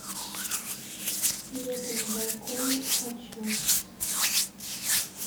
лето на балконе хочу